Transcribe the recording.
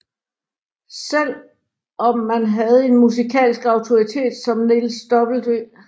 Selv om man havde en musikalsk autoritet som Niels W